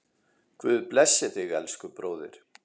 Guð blessi þig, elsku bróðir.